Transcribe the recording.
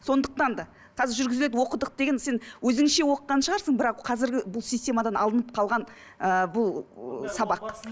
сондықтан да қазір жүргізеді оқыдық деген сен өзіңше оқыған шығарсың бірақ қазіргі бұл системадан алынып қалған ыыы бұл ы сабақ